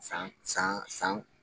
San san san